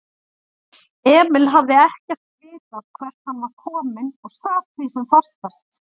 Emil hafði ekkert vitað hvert hann var kominn og sat því sem fastast.